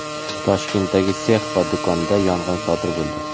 Toshkentdagi sex va do‘konda yong‘in sodir bo‘ldi.